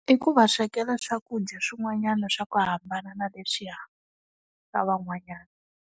I ku va swekela swakudya swin'wanyana swa ku hambana na leswiya, swa van'wanyana.